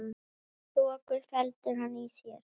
Þoku felur hann í sér.